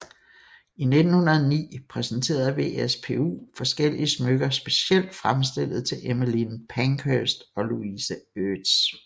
I 1909 præsenterede WSPU forskellige smykker specielt fremstillet til Emmeline Pankhurst og Louise Eates